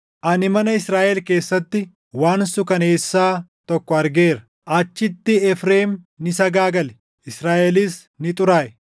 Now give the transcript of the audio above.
Ani mana Israaʼel keessatti waan suukaneessaa tokko argeera. Achitti Efreem ni sagaagale; Israaʼelis ni xuraaʼe.